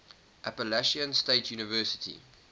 appalachian state university